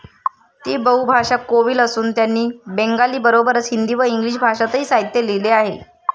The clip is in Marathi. ती बहु भाषा कोविल असून त्यांनी बेंगाली बरोबरच हिंदी व इंग्लिश भाषांतही साहित्य लिहिले आहे